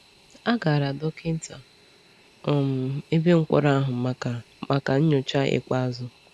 A gara dọkịta um ebe mkpọrọ ahụ maka maka nyocha ikpeazụ.